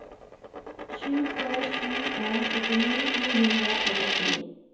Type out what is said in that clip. sju tre sju en syttini ni hundre og åttini